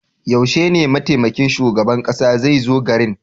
Yaushe ne mataimakin shugaban kasa zai zo garin?